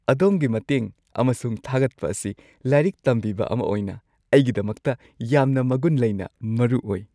ꯑꯗꯣꯝꯒꯤ ꯃꯇꯦꯡ ꯑꯃꯁꯨꯡ ꯊꯥꯒꯠꯄ ꯑꯁꯤ ꯂꯥꯏꯔꯤꯛ ꯇꯝꯕꯤꯕ ꯑꯃ ꯑꯣꯏꯅ ꯑꯩꯒꯤꯗꯃꯛꯇ ꯌꯥꯝꯅ ꯃꯒꯨꯟ ꯂꯩꯅ ꯃꯔꯨ ꯑꯣꯏ꯫